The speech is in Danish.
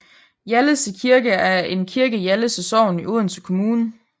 Hjallese Kirke er en kirke i Hjallese Sogn i Odense Kommune